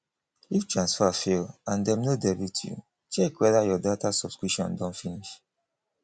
if transfer fail and dem no debit you check whether your data subscription don finish